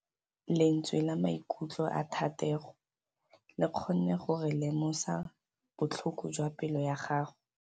Lentswe la maikutlo a Thategô le kgonne gore re lemosa botlhoko jwa pelô ya gagwe.